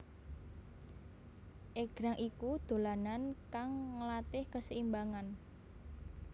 Égrang iku dolanan kang nglatih kaseimbangan